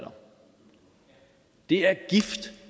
i at